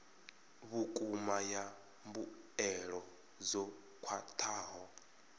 vhukuma ya mbuelo dzo khwathaho